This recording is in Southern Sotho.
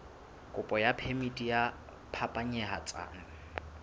kopo ya phemiti ya phapanyetsano